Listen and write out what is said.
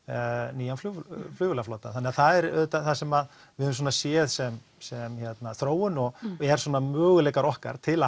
nýjan flugvélaflota þannig að það er auðvitað það sem við höfum svona séð sem sem þróun og er svona möguleikar okkar til að